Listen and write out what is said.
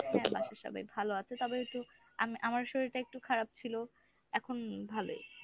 হ্যাঁ বাসার সবাই ভালো আছে, তবে একটু আমি আমার শরীরটা একটু খারাপ ছিল। এখন ভালই।